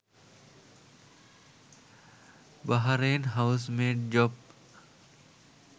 Bahrain housemaid job